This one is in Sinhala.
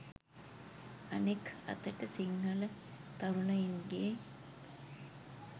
අනෙක් අතට සිංහල තරුණයින්ගේ